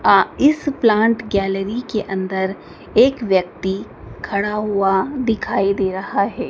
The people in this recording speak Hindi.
अ इस प्लांट गैलरी के अंदर एक व्यक्ति खड़ा हुआ दिखाई दे रहा है।